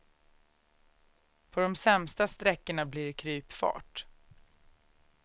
På de sämsta sträckorna blir det krypfart.